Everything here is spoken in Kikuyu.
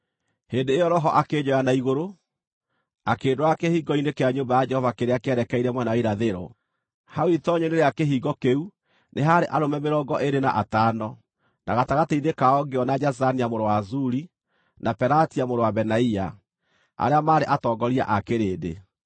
Hĩndĩ ĩyo Roho akĩnjoya na igũrũ, akĩndwara kĩhingo-inĩ kĩa nyũmba ya Jehova kĩrĩa kĩerekeire mwena wa irathĩro. Hau itoonyero-inĩ rĩu rĩa kĩhingo kĩu nĩ haarĩ arũme mĩrongo ĩĩrĩ na atano, na gatagatĩ-inĩ kao ngĩona Jazania mũrũ wa Azuri, na Pelatia mũrũ wa Benaia, arĩa maarĩ atongoria a kĩrĩndĩ.